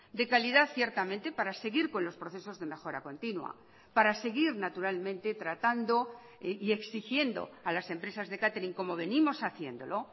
de calidad ciertamente para seguir con los procesos de mejora continua para seguir naturalmente tratando y exigiendo a las empresas de catering como venimos haciéndolo